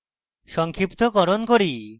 সংক্ষিপ্তকরণ করি